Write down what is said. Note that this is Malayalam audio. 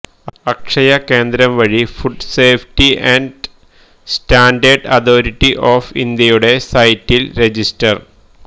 അക്ഷയകേന്ദ്രം വഴി food safety and standard authority of ഇന്ത്യയുടെ സൈറ്റില് രജിസ്റ്റര്